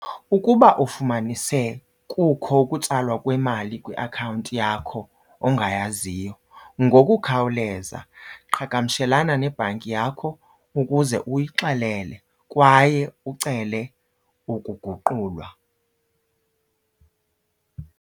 Ukuba ufumanise kukho ukutsalwa kwemali kwiakhawunti yakho ongayaziyo, ngokukhawuleza qhagamshelana nebhanki yakho ukuze uyixelele kwaye ucele ukuguqulwa.